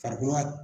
Farikolo